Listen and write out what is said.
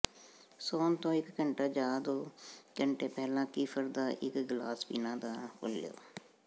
ਸੌਣ ਤੋਂ ਇਕ ਘੰਟਾ ਜਾਂ ਦੋ ਘੰਟੇ ਪਹਿਲਾਂ ਕੀਫ਼ਰ ਦਾ ਇਕ ਗਲਾਸ ਪੀਣਾ ਨਾ ਭੁੱਲੋ